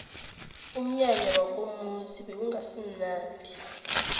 umnyanya wakomuzi bewungasimunandi